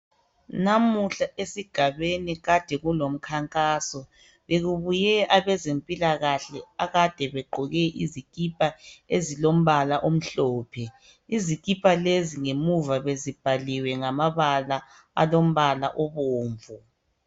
Namuhla esigabeni kade kulomkhankaso. Bekubuye abezempilakahle akade begqoke izikipa ezilombala omhlophe. Izikipa lezi ngemuva bezibhaliwe ngamabala alombala obomvu.